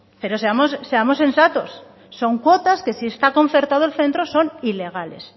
pero seamos sensatos son cuotas que si está concertado el centro son ilegales